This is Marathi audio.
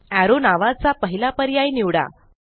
एरो नावाचा पहिला पर्याय निवडा